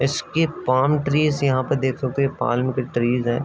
इसके palm trees यहाँ पे देख सकते है। ये पाम के ट्रीज हैं।